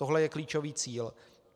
Tohle je klíčový cíl.